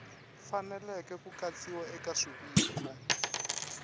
faneleke ku katsiwa eka swiviko